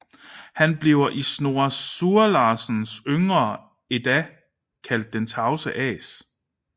Han bliver i Snorre Sturlasons Yngre Edda kaldt Den tavse as